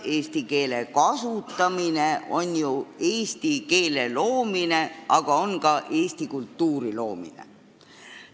Eesti keele kasutamine on ju eesti keele loomine, aga on ka kultuuri loomine.